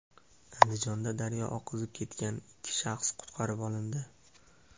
Andijonda daryo oqizib ketgan ikki shaxs qutqarib olindi.